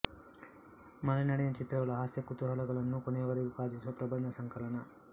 ಮಲೆನಾಡಿನ ಚಿತ್ರಗಳು ಹಾಸ್ಯ ಕುತೂಹಲಗಳನ್ನು ಕೊನೆಯವರೆಗೂ ಕಾದಿರಿಸುವ ಪ್ರಬಂಧ ಸಂಕಲನ